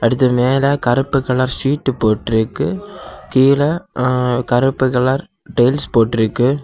அதுக்கு மேல கருப்பு கலர் சீட் போட்டு இருக்கு கீழ ம் கருப்பு கலர் டைல்ஸ் போட்டு இருக்கு.